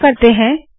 paste करते है